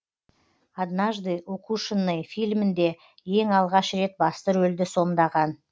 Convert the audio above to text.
однажды укушенный фильмінде ең алғаш рет басты рөлді сомдаған